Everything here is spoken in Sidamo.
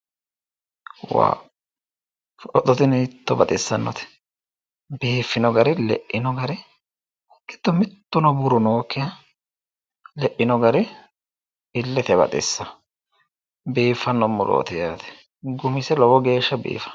Waa! footo tini hiitto baxissannote biiffino gari le'ino gari giddo mittuno buru nookkiha le'ino gari illete baxissa biiffanno murooti yaate.